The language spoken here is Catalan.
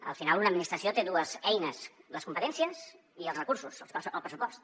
al final una administració té dues eines les competències i els recursos el pressupost